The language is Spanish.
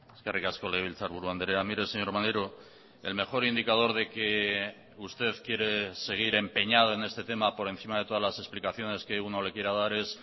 eskerrik asko legebiltzarburu andrea mire señor maneiro el mejor indicador de que usted quiere seguir empeñado en este tema por encima de todas las explicaciones que uno le quiera dar es